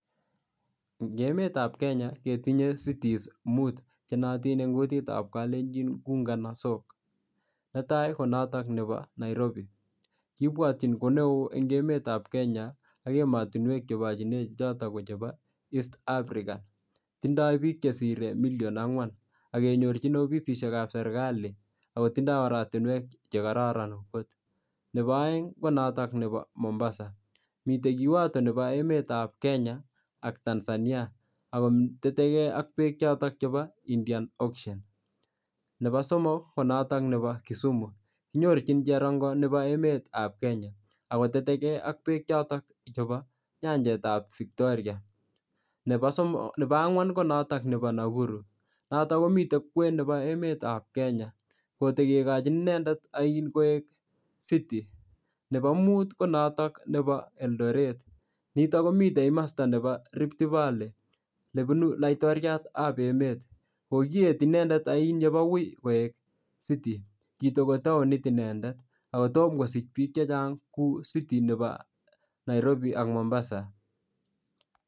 Eng' emetab Kenya ketinye cities mut chenoyotin eng' kutitab kalenjin kou kanasok netai konoto nebo Nairobi kibwotyi koneo eng' emetab Kenya ak emotinwek chebochine che choto kochebo East Africa tindoi biik chesirei million ang'wan akenyorchin ofisishek ab serikali akotindoi oratinwek chekororon kot nebo oeng' konoto nebo Mombasa mitei yuoto nebo emetab Kenya ak Tanzania ako tetekei ak beek choto chebo Indiana ocean nebo somok konoto nebo Kisumu kinyorchini cherongo nebo emetab Kenya akotetegei ak beek choto chebo nyanjetab Victoria nebo ang'wan ko noto nebo Nakuru noto komitei kwen nebo emetab Kenya kotekelochin inendet oin koek city nebo muut konotok nebo Eldoret nito komitei komosta nebo Rift valley nebunu laitoriatab emet kokiet inendet oin yebowei koek city kitiko taonit inendet ako tomo kosich biik chechang' kou city nebo Nairobi ak Mombasa